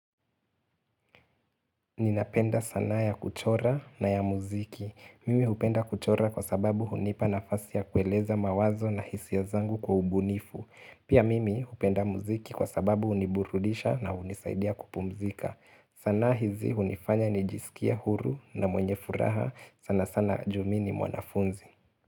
Ninapenda sanaa ya kuchora na ya muziki. Mimi hupenda kuchora kwa sababu hunipa nafasi ya kueleza mawazo na hisia zangu kwa ubunifu. Pia mimi hupenda muziki kwa sababu huniburudisha na hunisaidia kupumzika. Sanaa hizi hunifanya nijisikie huru na mwenye furaha. Sana sana ju mi ni mwanafunzi.